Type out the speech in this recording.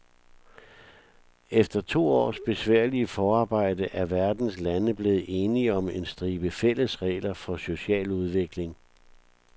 Efter to års besværligt forarbejde er verdens lande blevet enige om en stribe fælles regler for social udvikling.